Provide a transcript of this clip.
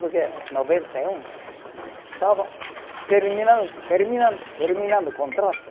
Porque noventa e um estava terminan, terminan, terminando o contrato.